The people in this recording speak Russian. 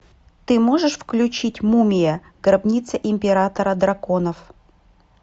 ты можешь включить мумия гробница императора драконов